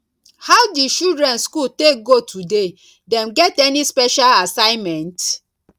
how di children school take go today dem get any special assignment